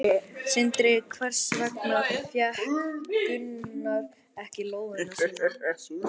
Sindri: Hvers vegna fékk Gunnar ekki lóðina sína?